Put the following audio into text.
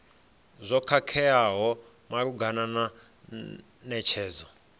zwo khakheaho malugana na netshedzo